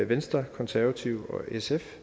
venstre de konservative og sf